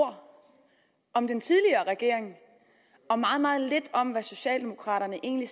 ord om den tidligere regering og meget meget lidt om hvad socialdemokraterne egentlig